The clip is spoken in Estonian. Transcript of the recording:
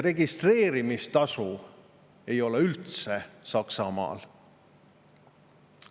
Registreerimistasu ei ole Saksamaal üldse.